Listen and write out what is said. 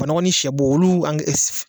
Ba nɔgɔ ni sɛ bo olu